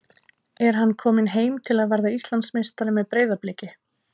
Er hann kominn heim til að verða Íslandsmeistari með Breiðabliki?